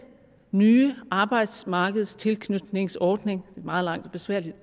nye arbejdsmarkedstilknytningsordning meget langt og besværligt